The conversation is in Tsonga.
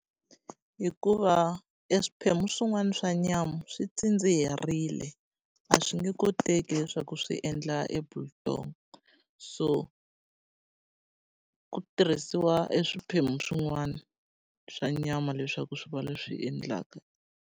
Hikuva e swiphemu swin'wana swa nyama swi tsindziherile, a swi nge koteki leswaku swi endla e biltong. So ku tirhisiwa e swiphemu swin'wana swa nyama leswaku swi va leswi endlaka.